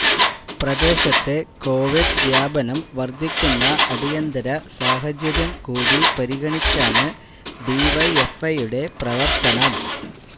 പ്രദേശത്തെ കൊവിഡ് വ്യാപനം വര്ധിക്കുന്ന അടിയന്തര സാഹചര്യം കൂടി പരിഗണിച്ചാണ് ഡിവൈഎഫ്ഐയുടെ പ്രവര്ത്തനം